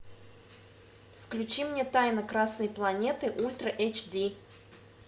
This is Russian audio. включи мне тайна красной планеты ультра эйч ди